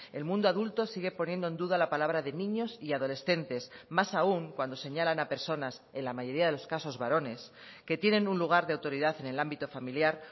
el mundo adulto sigue poniendo en duda la palabra de niños y adolescentes más aun cuando señalan a personas en la mayoría de los casos varones que tienen un lugar de autoridad en el ámbito familiar